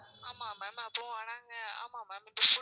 ஆமா ma'am அப்பறம் நாங்க ஆமா ma'am இப்போ food